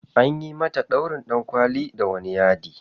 Anyi mata ɗaurin ɗankwali da wani yadi.